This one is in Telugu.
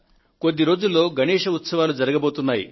కొద్ది రోజులలో గణేశ్ ఉత్సవాలు జరగబోతున్నాయి